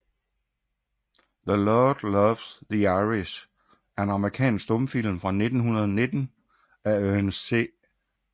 The Lord Loves the Irish er en amerikansk stumfilm fra 1919 af Ernest C